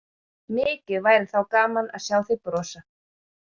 Mikið væri þá gaman að sjá þig brosa!